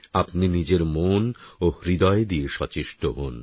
আপনি নিজের মন ও হৃদয় দিয়ে সচেষ্ট হোন